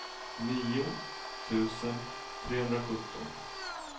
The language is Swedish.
nio tusen trehundrasjutton